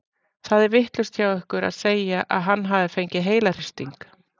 Það er vitlaust hjá ykkur að segja að hann hafi fengið heilahristing.